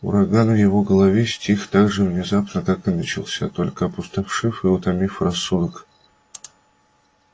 ураган в его голове стих так же внезапно как и начался только опустошив и утомив рассудок